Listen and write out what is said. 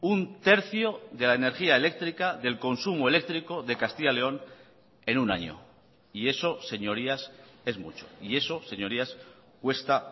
un tercio de la energía eléctrica del consumo eléctrico de castilla y león en un año y eso señorías es mucho y eso señorías cuesta